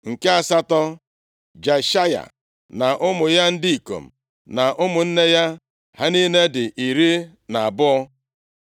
Nke asatọ, Jeshaya na ụmụ ya ndị ikom na ụmụnne ya. Ha niile dị iri na abụọ (12).